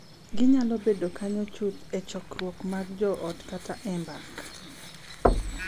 Ginyalo bedo kanyo chuth e chokruoge mag joot kata e mbaka .